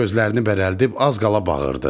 Gözlərini bərəldib az qala bağırırdı.